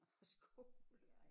Og skole